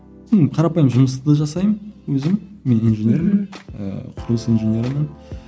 ну қарапайым жұмысты да жасаймын өзім мен инженермін ыыы құрылыс инженерімін